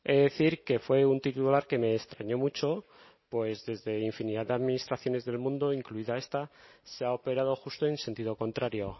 he de decir que fue un titular que me extraño mucho pues desde infinidad de administraciones del mundo incluida esta se ha operado justo en sentido contrario